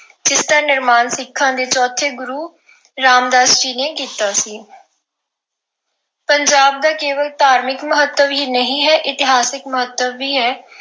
ਇਸ ਨਿਰਮਾਣ ਸਿੱਖਾਂ ਦੇ ਚੌਥੇ ਗੁਰੂ ਰਾਮਦਾਸ ਜੀ ਨੇ ਕੀਤਾ ਸੀ। ਪੰਜਾਬ ਦਾ ਕੇਵਲ ਧਾਰਮਿਕ ਮਹੱਤਵ ਹੀ ਨਹੀਂ ਹੈ, ਇਤਿਹਾਸਿਕ ਮਹੱਤਵ ਵੀ ਹੈ।